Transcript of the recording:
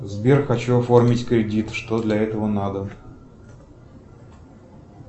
сбер хочу оформить кредит что для этого надо